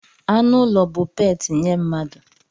Anụ ụlọ bụ peeti nye mmadụ.